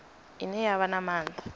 ine ya vha na maanḓa